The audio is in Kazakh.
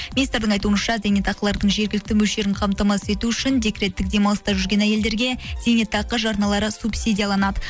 министрдің айтуынша зейнетақылардың жергілікті мөлшерін қамтамасыз ету үшін декреттік демалыста жүрген әйелдерге зейнетақы жарналары субсидияланады